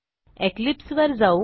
Eclipse वर जाऊ